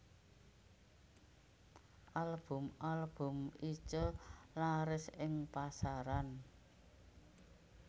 Album album Itje laris ing pasaran